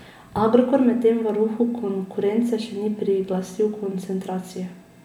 Agrokor medtem varuhu konkurence še ni priglasil koncentracije.